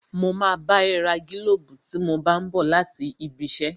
Mo máa bá ẹ ra gílóbù tí mo bá n bọ̀ láti ibi iṣẹ́